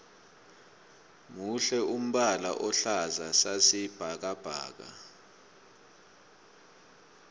muhle umbala ohlaza sasi bhakabhaka